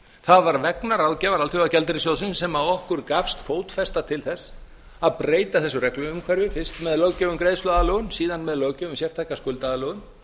það var vegna ráðgjafar alþjóðagjaldeyrissjóðsins sem okkur gafst fótfestu til að breyta þessu regluumhverfi fyrst með löggjöf um greiðsluaðlögun síðan með löggjöf um sérstaka skuldaaðlögun